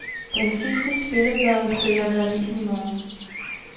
Den sidste spilleplade følger med avisen i morgen.